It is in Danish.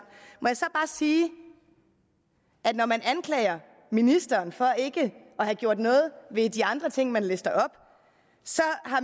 sige når man anklager ministeren for ikke at have gjort noget ved de andre ting man lister op at